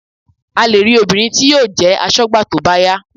A lè rí obìnrin tí yóò jẹ́ aṣọ́gbà tó bá yá